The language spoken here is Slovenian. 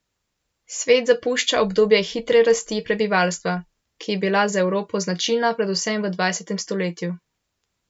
Svet zapušča obdobje hitre rasti prebivalstva, ki je bila za Evropo značilna predvsem v dvajsetem stoletju.